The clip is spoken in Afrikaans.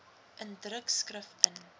in drukskrif in